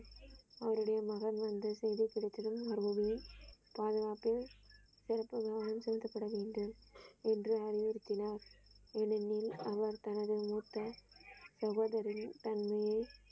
அவருடைய மகன் வந்த செய்தி கிடைத்ததும் பாதுகாப்பில் சிறப்பு விமானம் செலுத்தப்பட வேண்டும் என்று அறிவுறுத்தினார் ஏனெனில் அவர் தனது மூத்த சகோதரி தன்மேல்.